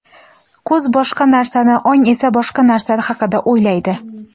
ko‘z boshqa narsani ong esa boshqa narsa haqida o‘ylaydi.